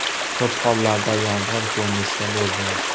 Ko‘p hollarda yomg‘ir ko‘rinishida bo‘lgan.